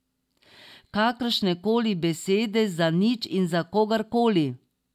Kakršnekoli besede, za nič in za kogarkoli.